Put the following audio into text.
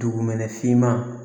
Dugumɛnɛ finman